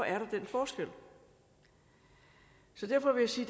er den forskel så derfor vil jeg sige